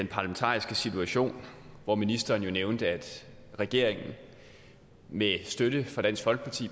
parlamentariske situation hvor ministeren jo nævnte at regeringen med støtte fra